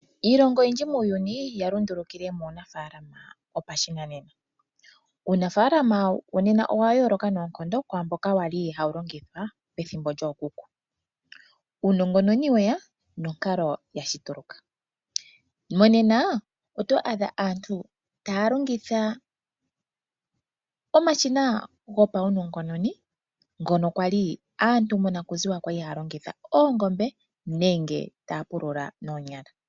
Iilongo oyindji muuyuni ya lundulukile muunafaalama wopashinanena . Uunafaalama wonena owa yooloka noonkondo kwaamboka wali pethimbo lyookuku . Uunongononi weya nonkalo yashituluka . Monena oto adha aantu taya longitha omashina gopawunongononi ngono kwali aantu monakuziwa kwali haya longitha oongombe nenge taya pulula noonyala.